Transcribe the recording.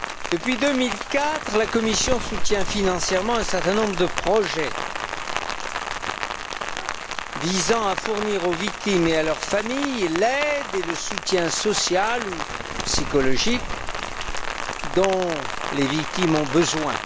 Depuis 2004, la Commission soutient financièrement un certain nombre de projets visant à fournir aux victimes et à leurs familles l'aide et le soutien social ou psychologique dont elles ont besoin.